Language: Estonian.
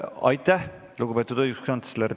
Aitäh, lugupeetud õiguskantsler!